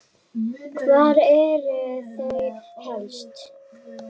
Hvar eru þau helst?